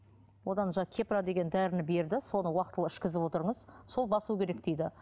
одан жаңағы кепра деген дәріні берді соны уақытылы ішкізіп отырыңыз сол басуы керек дейді